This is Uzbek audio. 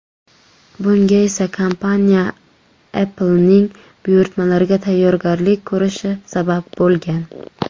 Bunga esa kompaniya Apple’ning buyurtmalariga tayyorgarlik ko‘rishi sabab bo‘lgan.